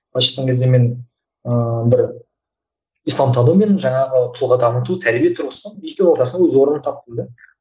былайша айтқан кезде мен ыыы бір исламтану мен жаңағы тұлға таныту тәрбие тұрғысынан екеуінің ортасынан өз орнымды таптым да